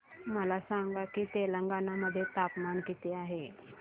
मला सांगा की तेलंगाणा मध्ये तापमान किती आहे